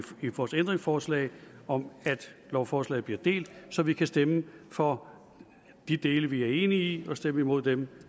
vores ændringsforslag om at lovforslaget bliver delt så vi kan stemme for de dele vi er enige i og stemme imod dem